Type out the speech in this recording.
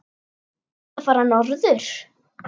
Ertu að fara norður?